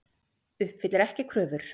Uppfyllir ekki kröfur